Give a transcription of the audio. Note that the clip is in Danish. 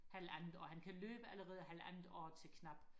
halvandet år han kan løbe allerede halvandet år til knap